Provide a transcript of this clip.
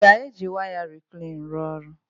A ga-eji waya reclean rụọ ọrụ?